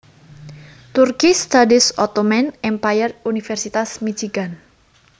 Turkish Studies Ottoman Empire Universitas Michigan